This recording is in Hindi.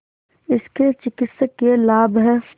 इसके चिकित्सकीय लाभ हैं